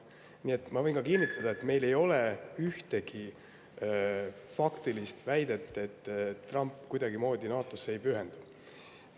Nii et ma võin kinnitada, et meil ei ole ühtegi faktilist väidet, et Trump NATO‑le ei pühendu.